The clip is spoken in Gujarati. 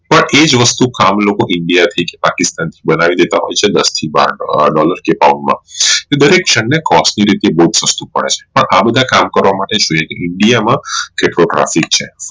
પણ એજ વસ્તુ કામ લોકો india થી જ પાકિસ્તાન બનાવી દેતા હોઈ છે દાસ થી બાર dollar કે pound માં જે દરેક જાણ ને cost ની રીતે બોવ સસ્તું પડે છે પણ આ બધા કામ કરવા માટે india માં traffic છે